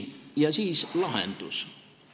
Ja nüüd lahendus.